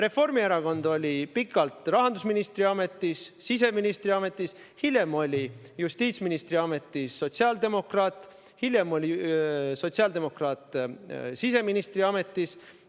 Reformierakonna esindaja oli pikalt rahandusministri ametis, siseministri ametis, hiljem oli justiitsministri ametis sotsiaaldemokraat ja ka siseministri ametis.